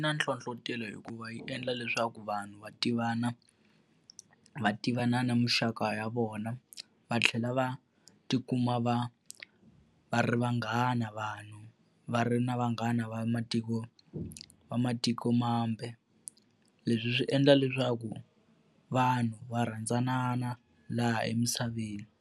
Na nhlohletelo hikuva yi endla leswaku vanhu va tivana va tivana na muxaka ya vona, va tlhela va tikuma va va ri vanghana, va vanhu va ri na vanghana va matiko va matikomambe. Leswi swi endla leswaku vanhu va rhandzanana laha emisaveni.